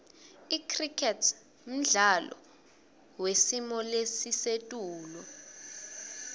icricket mdlalo wesimolesisetulu